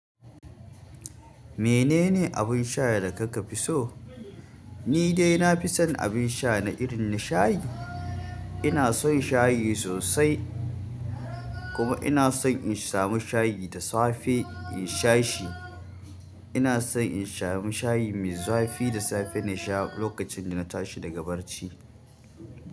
Menene abin sha da kaka fi so? Ni dai na fi son abin sha na irin shayi. Ina son shayi sosai, kuma ina son in sami shayi da safe in sha shi. Ina son in samu shayi mai zafi da safe na sha lokacin da tashi daga barci.